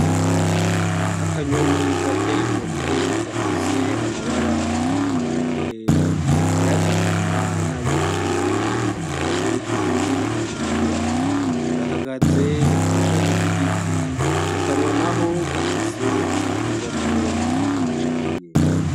Akanyoni gateyigo mwe gafise amabara atandukanye ayagahama n'ayo ubururu akagira utuguru dutukura gahagaze kw'ishami ry'igiti mu kanwa na ho gafise agafi gatoyi ka cakie.